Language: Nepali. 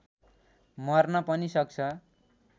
मर्न पनि सक्छ